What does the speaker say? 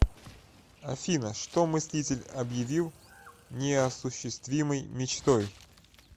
афина что мыслитель обьявил неосуществимой мечтой